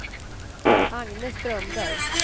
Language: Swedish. Agne Strömberg